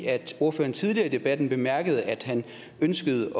at ordføreren tidligere i debatten bemærkede at han ønskede